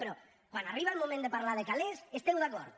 però quan arriba el moment de parlar de calés esteu d’acord